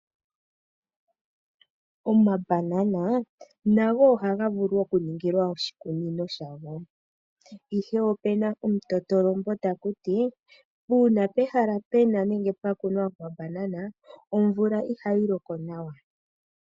Omabanana nago ohaga vulu okuningilwa oshikunino shago. Opuna omutoto lombo tagu ti, uuna pehala pwakunwa omabanana omvula ihayi loko nawa.